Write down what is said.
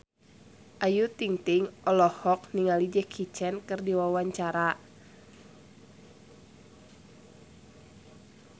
Ayu Ting-ting olohok ningali Jackie Chan keur diwawancara